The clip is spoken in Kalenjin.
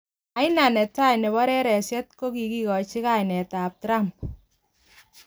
Aina ne tai ne bo reresiet kikochi kainetab Trump.